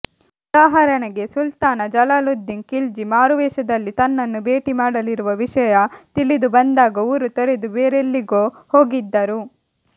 ಉದಾಹರಣೆಗೆ ಸುಲ್ತಾನ ಜಲಾಲುದ್ದೀನ್ ಖಿಲ್ಜಿ ಮಾರುವೇಷದಲ್ಲಿ ತನ್ನನ್ನು ಭೇಟಿ ಮಾಡಲಿರುವ ವಿಷಯ ತಿಳಿದುಬಂದಾಗ ಊರು ತೊರೆದು ಬೇರೆಲ್ಲಿಗೋ ಹೋಗಿದ್ದರು